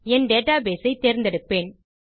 என் databaseஐ தேர்ந்தெடுப்பேன்